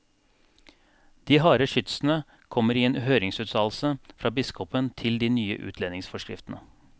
De harde skytsene kommer i en høringsuttalelse fra biskopen til de nye utlendingsforskriftene.